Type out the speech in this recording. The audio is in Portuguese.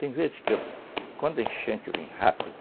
Tem vezes que quando a enchente vem rápida,